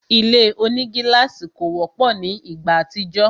Ile onigílàsì kò wọ́pọ̀ ni ìgbà àtijọ́